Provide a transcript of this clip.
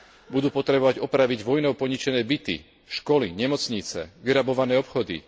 Budú potrebovať opraviť vojnou poničené byty, školy, nemocnice, vyrabované obchody.